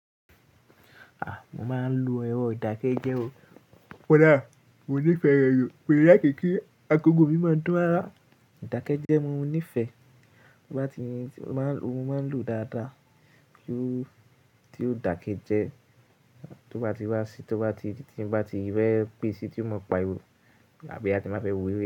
Mo máa ń lo ẹro idákẹ́jẹ́ o. Koda, mo nífẹ̀ẹ́ rẹ̀ ju, mi lákì kí agogo mi máa ń dun rara. Dákẹ́jẹ́ mo nífẹ̀ẹ́, ó bá ti, ó máa ń, oò máa ń lò dáadáa. Ju ti ò dákẹ́jẹ́, tó bá ti wá sí, tó bá ti, tí n bá ti rẹ́ pé e sí, tí ó mọ pa ihò àbí a ti máa bẹ wí.